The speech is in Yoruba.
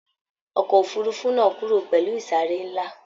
Ọkọ òfurùnfu náà kúrò pẹlú isare nla.